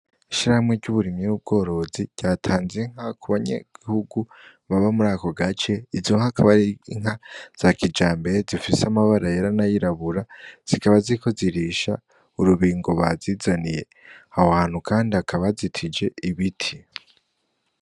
Ishirahamwe ry'uburimyi n'ubworozi, ryatanze inka ku banyagihugu baba muri ako gace, izo nka zikaba ari inka za kijambere, zifise amabara yera n'ayirabura, zikaba ziriko zirisha urubingo bazizaniye. Aho hantu kandi hakaba hazitije ibiti.